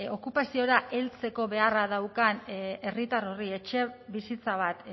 okupaziora heltzeko beharra daukan herritar horri etxebizitza bat